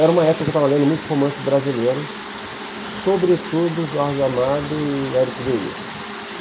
Era uma época que eu estava lendo muito romance brasileiro, sobretudo Jorge Amado e Érico Veríssimo.